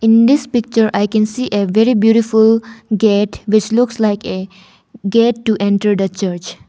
In this picture I can see a very beautiful gate which looks like a gate to enter the church.